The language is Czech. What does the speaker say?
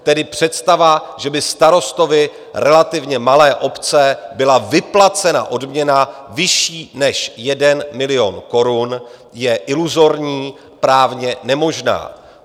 Tedy představa, že by starostovi relativně malé obce byla vyplacena odměna vyšší než 1 milion korun, je iluzorní, právně nemožná.